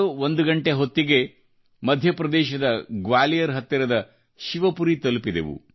00 ಗಂಟೆ ಹೊತ್ತಿಗೆ ಮಧ್ಯಪ್ರದೇಶದ ಗ್ವಾಲಿಯರ್ ಹತ್ತಿರದ ಶಿವಪುರಿ ತಲುಪಿದೆವು